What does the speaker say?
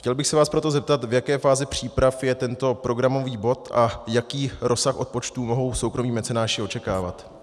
Chtěl bych se vás proto zeptat, v jaké fázi příprav je tento programový bod a jaký rozsah odpočtů mohou soukromí mecenáši očekávat.